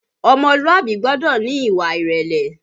Ọmọlúàbí gbọ́dọ̀ ní ìwà ìrẹ̀lẹ̀